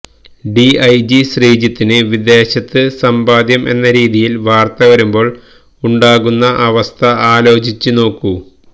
DIG ശ്രീജിത്തിന് വിദേശത്ത് സമ്പാദ്യം എന്ന രീതിയിൽ വാർത്ത വരുമ്പോൾ ഉണ്ടാകുന്ന അവസ്ഥ ആലോചിച്ച് നോക്കൂ